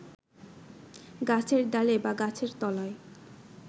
গাছের ডালে বা গাছের তলায়